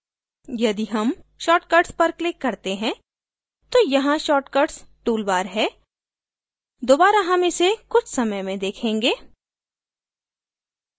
यदि हम shortcuts पर click करते हैं तो यहाँ shortcuts tool bar है दोबारा हम इसे कुछ समय में देखेंगे